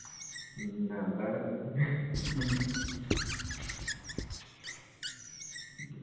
മ്മ് അതാണ്.